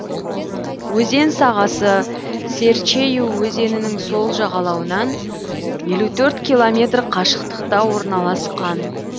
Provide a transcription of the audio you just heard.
өзен сағасы серчейю өзенінің сол жағалауынан елу төрт километр қашықтықта орналасқан